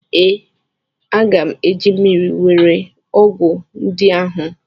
Ee, aga m eji mmiri were ọgwụ ndị ahụ.